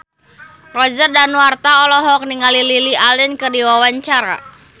Roger Danuarta olohok ningali Lily Allen keur diwawancara